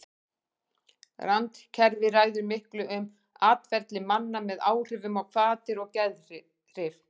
Randkerfið ræður miklu um atferli manna með áhrifum á hvatir og geðhrif.